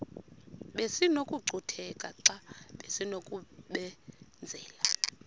besinokucutheka xa besinokubenzela